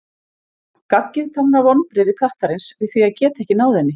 Gaggið táknar vonbrigði kattarins við því að geta ekki náð henni.